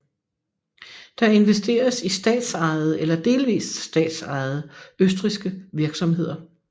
Der investeres i statsejede eller delvist statsejede østrigske virksomheder